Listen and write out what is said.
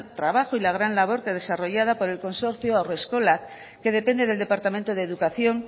trabajo y la gran labor desarrollada por el consorcio haurreskolak que depende del departamento de educación